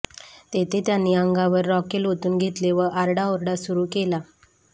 तेथे त्यांनी अंगावर रॉकेल ओतून घेतले व आरडाओरडा सुरू केला